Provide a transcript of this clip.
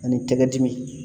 Ani tɛgɛ dimi